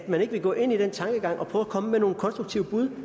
man ikke vil gå ind i den tankegang og prøve at komme med nogle konstruktive bud